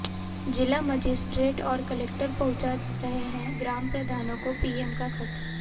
जिला मजिस्ट्रेट और कलेक्टर पहुंचा रहे हैं ग्राम प्रधानों को पीएम का खत